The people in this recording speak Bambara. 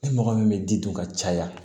Ni mɔgɔ min bɛ di don ka caya